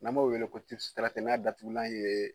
N'an m'o wele ko n'a datugulan ye